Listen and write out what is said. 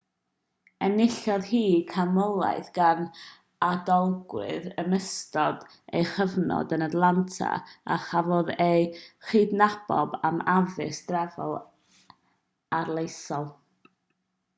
enillodd hi ganmoliaeth gan adolygwyr yn ystod ei chyfnod yn atlanta a chafodd ei chydnabod am addysg drefol arloesol